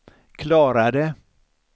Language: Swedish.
klarade